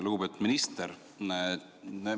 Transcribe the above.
Lugupeetud minister!